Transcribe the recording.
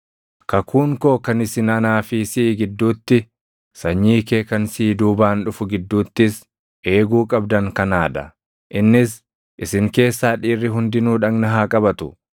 Kakuun koo kan isin anaa fi siʼi gidduutti, sanyii kee kan siʼi duubaan dhufu gidduuttis eeguu qabdan kanaa dha; innis isin keessaa dhiirri hundinuu dhagna haa qabatu.